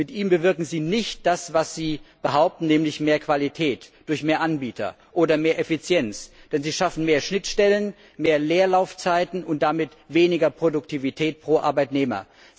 Mit ihm bewirken Sie nicht das, was Sie behaupten, nämlich mehr Qualität durch mehr Anbieter oder mehr Effizienz, denn Sie schaffen mehr Schnittstellen, mehr Leerlaufzeiten und damit weniger Produktivität pro Arbeitnehmer.